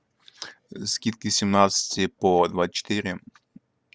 скидки с семнадцати по двадцать четыре